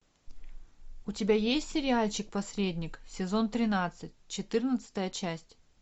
у тебя есть сериальчик посредник сезон тринадцать четырнадцатая часть